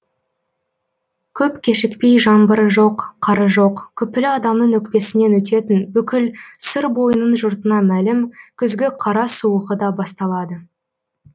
көп кешікпей жаңбыры жоқ қары жоқ күпілі адамның өкпесінен өтетін бүкіл сыр бойының жұртына мәлім күзгі қара суығы да басталады